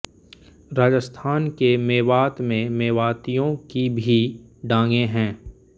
राजस्थान के मेवात में मेवातियो की भी डांगे हैं